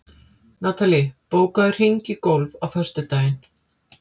Natalí, bókaðu hring í golf á föstudaginn.